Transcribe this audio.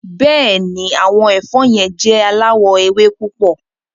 Bẹ́ẹ̀ni, awọn ẹfọ̀ yẹn jẹ̀ aláwọ̀ èwè̀ púpọ̀.